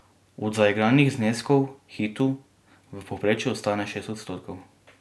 Od zaigranih zneskov Hitu v povprečju ostane šest odstotkov.